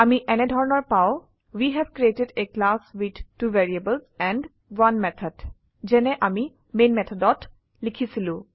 আমি এনেধৰনৰ পাও we have created a class with 2 variables and 1 method যেনে আমিমেন মেথডত লিখেছিলো